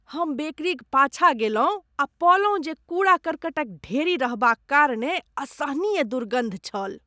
हम बेकरीक पाछाँ गेलहुँ आ पओलहुँ जे कूड़ा कर्कटक ढेरी रहबाक कारणेँ असहनीय दुर्गन्ध छल।